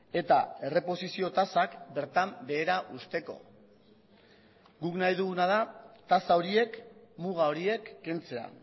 eta erreposizio tasak bertan behera uzteko guk nahi duguna da tasa horiek muga horiek kentzea